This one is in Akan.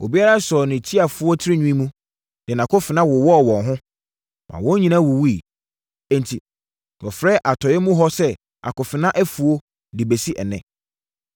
Obiara sɔɔ ne tiafoɔ tirinwi mu, de nʼakofena wowɔɔ wɔn ho, maa wɔn nyinaa wuwuiɛ. Enti, wɔfrɛ atɔeɛ mu hɔ sɛ Akofena Afuo de bɛsi ɛnnɛ.